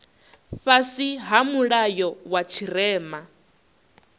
fhasi ha mulayo wa tshirema